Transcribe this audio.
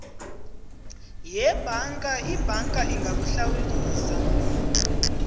yebhanka ibhanka ingakuhlawulisa